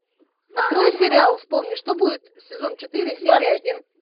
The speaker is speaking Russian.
открой сериал вспомни что будет сезон четыре серия один